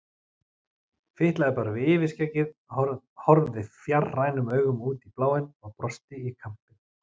Fitlaði bara við yfirskeggið, horfði fjarrænum augum út í bláinn og brosti í kampinn.